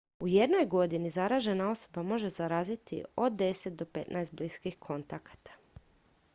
u jednoj godini zaražena osoba može zaraziti od 10 do 15 bliskih kontakata